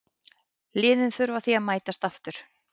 Liðin þurfa því að mætast aftur.